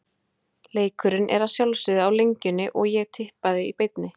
Leikurinn er að sjálfsögðu á Lengjunni og í Tippað í beinni.